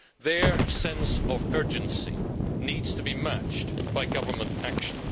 Their sense of urgency needs to be matched by government action.